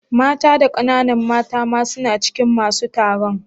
Mata da kananan mata ma suna cikin masun taron?